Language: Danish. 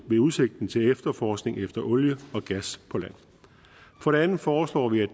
ved udsigten til efterforskning efter olie og gas på land for det andet foreslår vi at